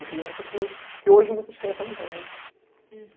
Criança que hoje muitas crianças não tem ne?!